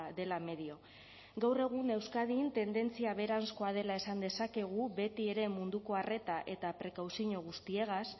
dela medio gaur egun euskadin tendentzia beheranzkoa dela esan dezakegu beti ere munduko arreta eta prekauzio guztiagaz